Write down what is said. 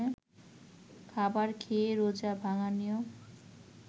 খাবার খেয়ে রোজা ভাঙ্গার নিয়ম